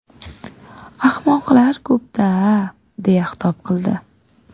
Ahmoqlar ko‘p-da”, deya xitob qildi.